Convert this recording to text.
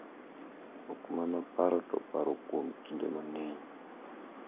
Ok mana paro to paro kuom kinde mang`eny.